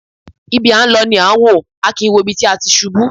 Ibi à ń lọ ni à wò, a kìí wo ibi tí a ti ṣubú.